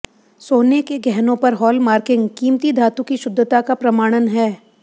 सोने के गहनों पर हॉलमार्किंग कीमती धातु की शुद्धता का प्रमाणन है